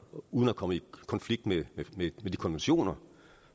uden at komme i konflikt med de konventioner